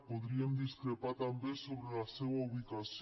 podríem discrepar també sobre la seva ubicació